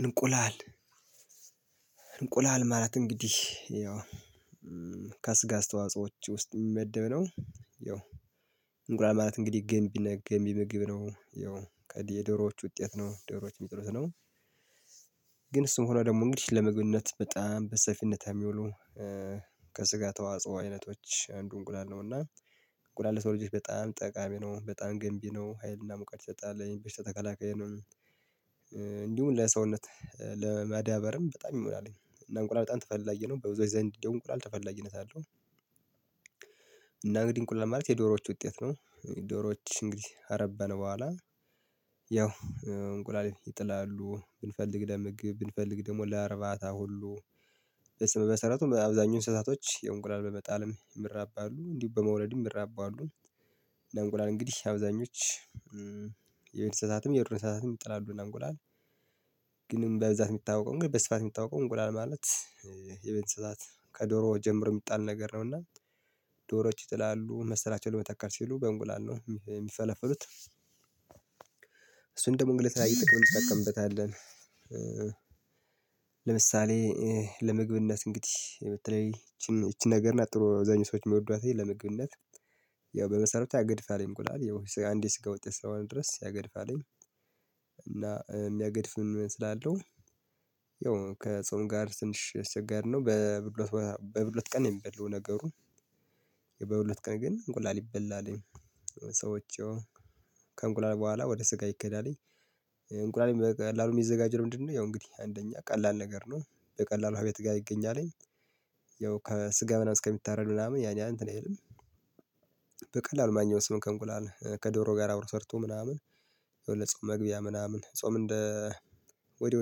እንቁላል ማለት እንግዲህ ያው ከስጋ አስተዋጾች ውስጥ የሚመደብ ነው። ያው እንቁላል ማለት እንግዲህ ገንቢ እና ገንቢ ምግብ ነው። ያው የዶሮዎች ውጤት ነው ዶሮዎች የሚጥሉት ነው። ግን እሱም ሆኖ ደግሞ እንግዲህ ለምግብነት በጣም በሰፊነት የሚውሉ ከስጋ ተዋጽኦ አይነቶች አንዱ እንቁላል ነው። እና እንቁላል ለሰው ልጆች በጣም ጠቃሚ ነው በጣም ገንቢ ነው ሀይልና ሙቀት ይሰጣል በሽታ ተካላካይ ነው። እንዲሁም ለሰውነት ለመዳበርም በጣም ይሞላል እና እንቁላል በጣም ተፈላጊ ነው በብዙዎች ዘንድ እንቁላል ተፈላጊነት አለው። እና እንግዲህ እንቁላል ማለት የዶሮዎች ውጤት ነው። ዶሮዎች እንግዲህ ካረባን በኋላ ያው እንቁላል ይጥላሉ ብንፈልግ ለምግብ ብንፈልግ ደግሞ ለእርባታ ሁሉ ለስመ መሰረቱ አብዛኛው እንስሳቶች ያው እንቁላል በመጣልም ይራባሉ እንዲሁ በመውለድም የሚራቡ አሉ። ለእንቁላል እንግዲህ አብዛኞች የቤት እንስሳትም የዱር እንስሳትም ይጥላሉ። እና እንቁላል ግንም በብዛት የምታውቀው እንግዲህ በስፋት የምታወቀው እንቁላል ማለት የቤት እንስሳት ከዶሮ ጀምሮ የሚጣል ነገር ነውና ዶሮዎች ይጥላሉ መሰላቸውን ለመተካት ሲሉ በእንቁላል ነው የሚፈለፍሉት። እሱን ደግሞ ግን ለተለያዩ ጥቅም እንጠቀምበታለን። ለምሳሌ ለምግብነት እንግዲህ በተለይ ይቺን ይቺን ነገር እና ጥሩ አብዛኛው ሰዎች የሚወዷትላይ ለምግብነት ያው በመሰረቱ ያገድፋል እንቁላል ያው አንዴ የስጋ ውጤት እስከሆነ ድረስ ያገድፋልኝ። እና የሚያገድፍም ስላለው ያው ከጾም ጋር ትንሽ አስቸጋሪ ነው። በሁለት በሁለት ቀን የሚበላው ነገሩ። በሁለት ቀን ግን እንቁላል ይበላል። ሰዎች ያው ከእንቁላል በኋላ ወደ ስጋ ይኬዳልኝ። እንቁላልም በቀላሉ የሚዘጋጀው ለምንድነው? ያው እንግዲህ አንደኛ ቀላል ነገር ነው። በቀላሉ እቤት ጋር ይገኛልኝ። እስከሚታረድ ምናምን ያን ያህል እንትን አይልም። በቀላሉ ማግኛው ሲሆን ከእንቁላል ከዶሮ ጋር አብሮ ሰርቶ ምናምን። ያው የጾም መግቢያ ምናምን ጾም እንደ ወዲያው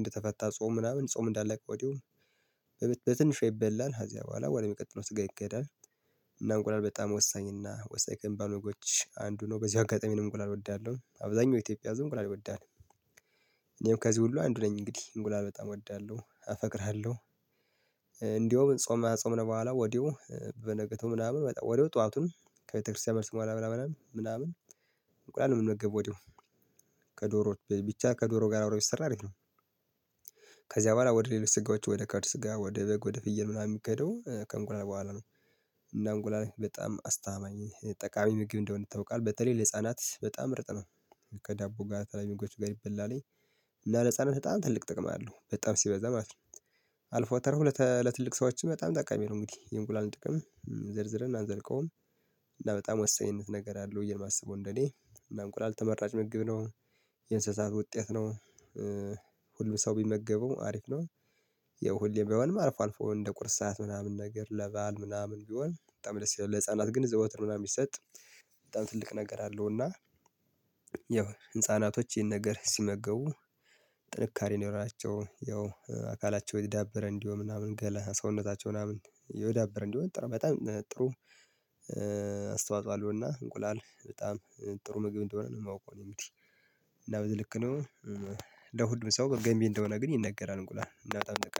እንደተፈታ ጾም ምናምን ጾም እንዳለቀ ወዲያው በትንሿ ይበላል ከዚያ በኋላ ወደሚቀጥለው ስጋ ይኬዳል። እና እንቁላል በጣም ወሳኝ እና ወሳኝ ከሚባሉ ነገሮች አንዱ ነው። በዚው አጋጣሚ እኔም እንቁላል እወዳለሁ አብዛኛው የኢትዮጵያ ህዝብ እንቁላል ይወዳል። እኔም ከዚህ ሁሉ አንዱ ነኝ እንግዲህ እንቁላል በጣም እወዳለሁ አፈቅርሃለው። እንደውም ጾም አጾምን በኋላ ወዲያው በንጋቱ ምናምን ወዲያው ጠዋቱን ከቤተክርስቲያን መልስ በኋላ ምናምን ምናምን እንቁላል የምንመገበው ወዲያው ከዶሮ ብቻ ከዶሮ ጋር አብሮ ቢሰራ አሪፍ ነው። ከዚያ በኋላ ወደ ሌሎች ስጋዎች ወደ ካድ ስጋ ወደ በግ ወደ ፍየል ምናምን የሚኬደው ከእንቁላል በኋላ ነው። እና እንቁላል በጣም አስተማማኝ ጠቃሚ ምግብ እንደሆነ ይታወቃል በተለይ ለህፃናት በጣም ምርጥ ነው። ከዳቦ ጋር ከተለያዩ ምግቦች ጋር ይበላልኝ። እና ለህፃናት በጣም ትልቅ ጥቅም አለው በጣም ሲበዛ ማለት ነው። አልፎ ተርፎ ለትልቅ ሰዎች በጣም ጠቃሚ ነው። እንግዲህ የእንቁላልን ጥቅም ዘርዝረን አንዘልቀውም። እና በጣም ወሳኝነት ነገር አለው ብዬ የማስበው እንደኔ እና እንቁላል ተመራጭ ምግብ ነው። የእንስሳት ውጤት ነው። ሁሉ ሰው ቢመገበው አሪፍ ነው። ያው ሁሌም ባይሆንም አልፎ አልፎ እንደ ቁርስ ሰዓት ምናምን ነገር ለበአል ምናምን ቢሆን በጣም ደስ ይላል ለህፃናት ግን ዘውትር ምናምን ይሰጥ። በጣም ትልቅ ነገር አለው እና። ያው ህፃናቶች ይሄን ነገር ሲመገቡ ጥንካሬ ይኖራቸው ያው አካላቸው የዳበረ እንዲሆን ምናምን ገላ ሰውነታቸው ምናምን የዳበረ እንዲሆን በጣም ጥሩ። አስተዋጽኦ አለውና እንቁላል በጣም ጥሩ ምግብ እንደሆነ ነው የማውቀው። እኔ እንግዲህ እና በዚህ ልክ ነው። ለሁሉም ሰው ገንቢ እንደሆነ ግን ይነገራል እንቁላል።